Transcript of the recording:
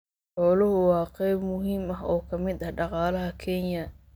Xooluhu waa qayb muhiim ah oo ka mid ah dhaqaalaha Kenya.